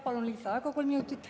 Palun lisaaega kolm minutit.